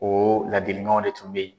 O laadiliganw de tun bɛ ye.